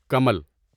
کمل